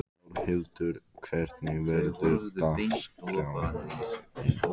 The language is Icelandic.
Þórhildur, hvernig verður dagskráin?